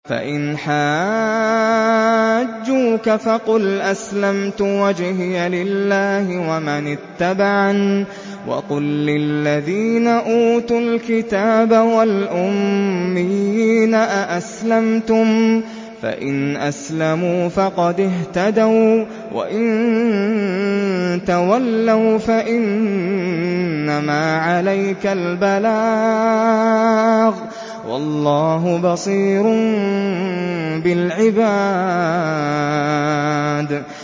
فَإِنْ حَاجُّوكَ فَقُلْ أَسْلَمْتُ وَجْهِيَ لِلَّهِ وَمَنِ اتَّبَعَنِ ۗ وَقُل لِّلَّذِينَ أُوتُوا الْكِتَابَ وَالْأُمِّيِّينَ أَأَسْلَمْتُمْ ۚ فَإِنْ أَسْلَمُوا فَقَدِ اهْتَدَوا ۖ وَّإِن تَوَلَّوْا فَإِنَّمَا عَلَيْكَ الْبَلَاغُ ۗ وَاللَّهُ بَصِيرٌ بِالْعِبَادِ